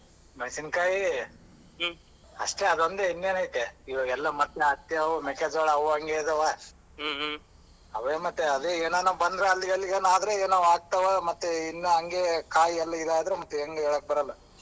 ಮೆಣಸಿನಕಾಯಿ ಅಷ್ಟೆ ಅದೊಂದೇ ಇನ್ನೇನ್ ಐತೆ ಇವಗೆಲ್ಲಾ ಮತ್ತ್ ಹತ್ತಿವು ಮೆಕ್ಕಾ ಜೋಳವು ಅವು ಹಂಗೆ ಅದವಾ ಅವೆ ಮತ್ತೆ ಅದೇ ಏನಾನ ಬಂದ್ರೆ ಅಲ್ಲಿಗಲ್ಲಿಗೆ ಎನಾದರ ಆಗತಿವ ಮತ್ತೆ ಇನ್ನ ಹಂಗೆ ಕಾಯಿ ಎಲ್ಲ ಆದ್ರೆ ಹೇಳಕೆ ಬರಲ್ಲ.